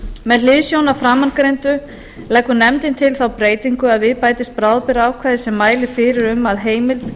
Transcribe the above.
með hliðsjón af framangreindu leggur nefndin til þá breytingu að við bætist bráðabirgðaákvæði sem mælir fyrir um að heimild